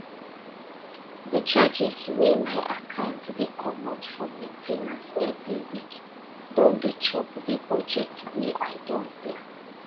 the charges wey my account dey comot for main ten ance every week don dey chop the budget wey i don plan